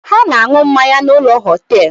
Ha na-aṅu mmanya n’ ụlọ họtelụ